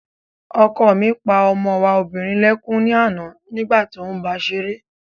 Ọkọ mi pa ọmọ wa obìnrin lẹ́kún ní àná nígbà tí óún báa ṣeré